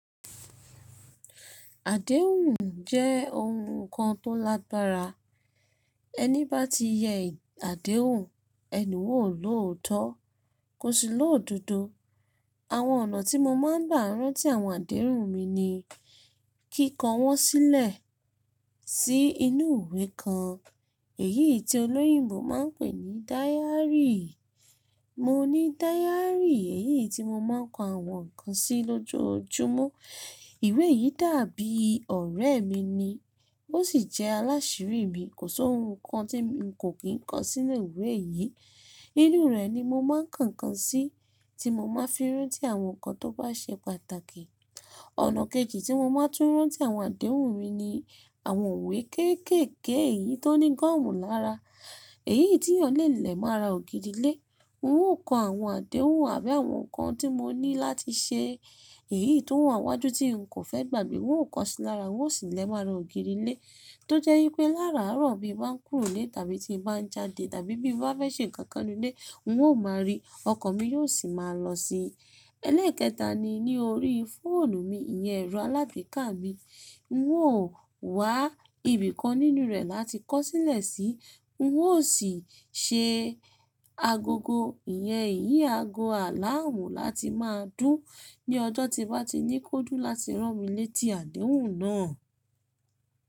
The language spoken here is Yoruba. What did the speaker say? Àdéhùn jẹ́ ohun kan tó lágbára. Ẹni bá ti yẹ àdéhùn, ẹni un o loòótọ́, kò sí ló'dodo. Àwọn ọ̀nà tí mo máa ń gbà rán tí àwọn àdéhùn mi ni; kíko wọ́n sílẹ̀ sí inú ìwé kan, èyí tí olóyìnbo máa ń pè ní diary. Mo ní diary yií tí mo máa ń kọ àwọn nǹkan sí lójoojúmọ́. Ìwé yìí dàbí ọ̀rẹ́ mi ni, ó sì jẹ́ alásírí mi, kò sí ohun kan tí n kò kín kọ sí inú ìwé yìí. Inú rẹ̀ ni mo máa ń ko nkan sí tí mo máa ń fi rántí àwọn nǹkan tó bá ṣe pàtàkì. Ọ̀nà kejì tí mo máa ń tún rán tí àwọn àdéhùn mi ni àwọn ìwé kéékèèké èyí tó ní gọ́ọ̀mù lára. Èyí tí yàn lé lẹ̀ mọ ara ògiri ilé. N ó kọ àwọn àdéhùn àbí àwọn nǹkan tí mo ní láti ṣe. Èyí tó wà n wájú tí n kò fẹ́ gbàgbé. N ó kọ síi lára, n ó sì lé mo ara ògiri ilé. Tó jẹ́ wipé láraàárọ̀ bi n ba ń kúrò nílé tàbí tí mo bá ń jáde tàbí bí n bá fẹ́ ṣe nǹkan kan nínú ilé, n ó máa rí i, ọkàn mi yóò sì máa lọ síi. Eléèkèta ni ní orí fóònù mi, ìyẹ́n ẹro alágbeká mi. N ó wá ibìkan nínú rẹ̀ láti kọ́ sílẹ̀ sí, n ó sì se agogo, ìyẹ́n ìyí aago aláàmú láti máa dún ní ọjọ́ tí n bá ti ní kó dún láti rán mi létí àdéhùn náà.